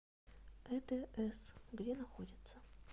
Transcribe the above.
эдс где находится